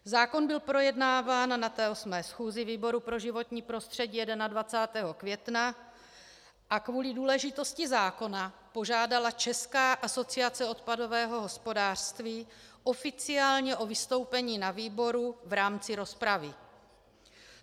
Zákon byl projednáván na 8. schůzi výboru pro životní prostředí 21. května a kvůli důležitosti zákona požádala Česká asociace odpadového hospodářství oficiálně o vystoupení na výboru v rámci rozpravy.